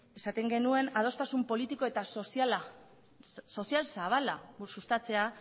esaten genuen adostasun politiko eta sozial zabala sustatzea